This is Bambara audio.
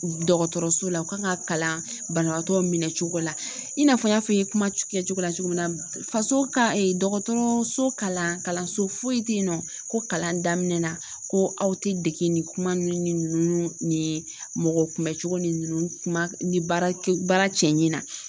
Dɔgɔtɔrɔso la u ka kan ka kalan banabagatɔ minɛ cogo la, i n'a fɔ n y'a fɔ i ye kuma kɛcogo la cogo min na. faso ka dɔgɔtɔrɔso kalan kalanso foyi tɛ yen nɔ ko kalan daminɛ na ko aw tɛ dege nin kuma ninnu ni ninnu ni mɔgɔ kunbɛcogo ni kuma ni baara baara cɛɲi na